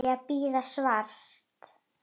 Á ég að bíða svars?